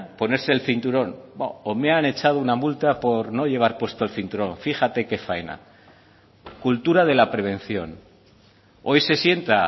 ponerse el cinturón me han echado una multa por no llevar puesto el cinturón fíjate que faena cultura de la prevención hoy se sienta